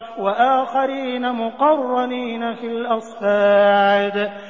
وَآخَرِينَ مُقَرَّنِينَ فِي الْأَصْفَادِ